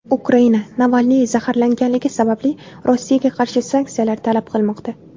Ukraina Navalniy zaharlangani sababli Rossiyaga qarshi sanksiyalar talab qilmoqda.